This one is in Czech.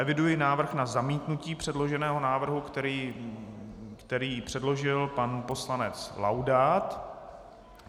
Eviduji návrh na zamítnutí předloženého návrhu, který předložil pan poslanec Laudát.